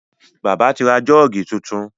Bàbá ti ra Jọ́ọ̀gì tuntun.